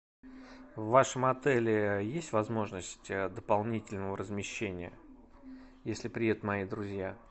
в вашем отеле есть возможность дополнительного размещения если приедут мои друзья